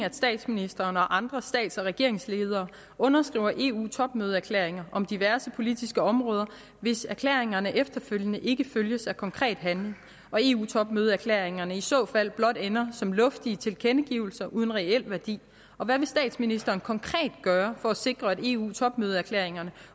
at statsministeren og andre stats og regeringsledere underskriver eu topmødeerklæringer om diverse politiske områder hvis erklæringerne efterfølgende ikke følges af konkret handling og eu topmødeerklæringerne i så fald blot ender som luftige tilkendegivelser uden reel værdi og hvad vil statsministeren konkret gøre for at sikre at eu topmødeerklæringerne